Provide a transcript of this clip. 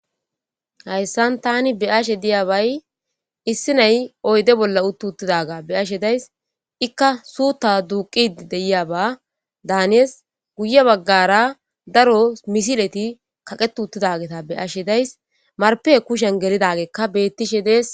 Hayasn tan beyayabay issi nay uyde bolla uti utidaga beyashe days ika suta duqidi deyaba danes guye bagara daro misileti jaqeti utidageta beyashe days marpe kushen geli utidbetishe des